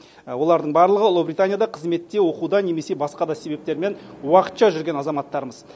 олардың барлығы ұлыбританияда қызметте оқуда немесе басқа да себептермен уақытша жүрген азаматтарымыз